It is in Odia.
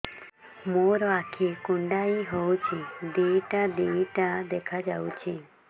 ମୋର ଆଖି କୁଣ୍ଡାଇ ହଉଛି ଦିଇଟା ଦିଇଟା ଦେଖା ଯାଉଛି